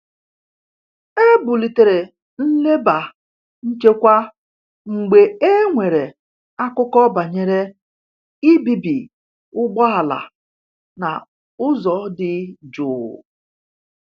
E bulitere nleba nchekwa mgbe e nwere akụkọ banyere ibibi ụgbọala na ụzọ dị jụụ.